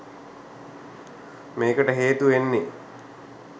මේකට හේතු වෙන්නේ